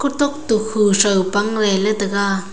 otok tu ku pang ley tega.